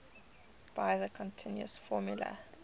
by the continuous formula